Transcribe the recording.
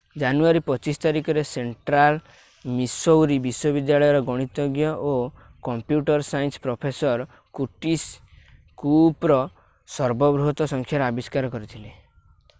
ଜାନୁୟାରୀ 25 ତାରିଖରେ Central Missouri ବିଶ୍ୱବିଦ୍ୟାଳୟର ଗଣିତଜ୍ଞ ଓ computer science professor Curtis Cooper ସର୍ବ ବୃହତ ସଂଖ୍ୟାର ଆବିଷ୍କାର କରିଥିଲେ